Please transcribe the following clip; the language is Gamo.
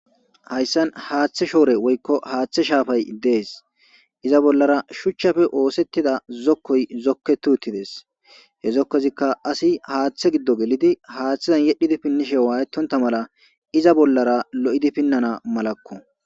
Haysan hathe shafay woyko hathe shorey des iza bolara shuchape osetida zokou zoketi utides he zokozika asi hathe gido wodhidi hathen wayetonta iza bolara hamuti finana malako